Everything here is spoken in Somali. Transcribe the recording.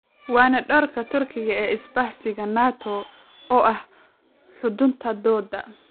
Waana doorka Turkiga ee isbahaysiga Nato oo ah xudunta doodda.